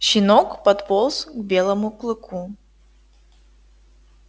щенок подполз к белому клыку